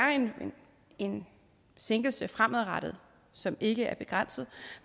en sænkelse fremadrettet som ikke er begrænset